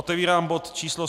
Otevírám bod číslo